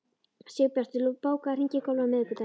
Sigbjartur, bókaðu hring í golf á miðvikudaginn.